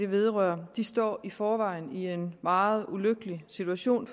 vedrører står i forvejen i en meget ulykkelig situation